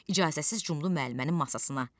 İcazəsiz cumdu müəllimənin masasına.